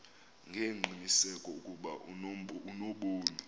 ngengqiniseko ukuba unobomi